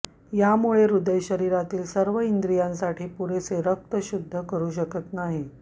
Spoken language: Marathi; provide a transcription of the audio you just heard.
यामुळे हृदय शरीरातील सर्व इंद्रियांसाठी पुरेसे रक्त शुद्ध करू शकत नाही